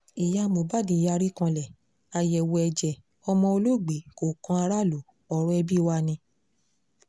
ìyá mohbad yarí kanlẹ̀ àyẹ̀wò ẹ̀jẹ̀ ọmọ olóògbé kò kan aráàlú ọ̀rọ̀ ẹbí wa ni